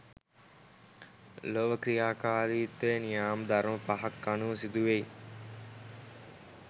ලොව ක්‍රියාකාරිත්වය නියාම ධර්ම පහක් අනුව සිදුවෙයි.